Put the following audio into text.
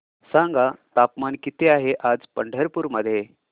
सांगा तापमान किती आहे आज पंढरपूर मध्ये